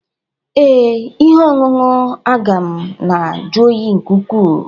Ee, ihe ọṅụṅụ agụ m na-ajụ oyi nke ukwuu